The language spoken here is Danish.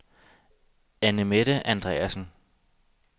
Annemette Andreasen